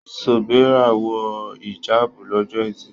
Sobeerah wọ hìjáàbù lọ́jọ́ ẹtì.